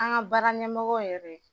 An ka baara ɲɛmɔgɔ yɛrɛ